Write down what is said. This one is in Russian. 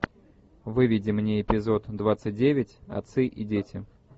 выведи мне эпизод двадцать девять отцы и дети